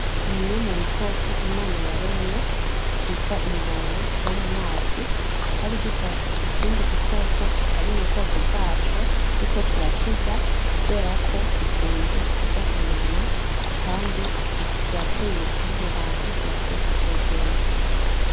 Bimwe mu bikoko Imana yaremye, citwa ingona kiba mu mazi cari gifashe ikindi gikoko kitari mu bwoko bwaco kiriko kirakirya kubera ko gikunze kurya inyama, kandi kiratinyitse n'abantu ntibakwiye kucegera.